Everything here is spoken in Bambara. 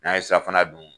N'an ye safinɛ dun